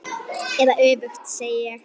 Eða öfugt, segi ég.